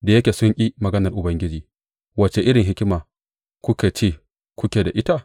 Da yake sun ƙi maganar Ubangiji, wace irin hikima kuka ce kuke da ita?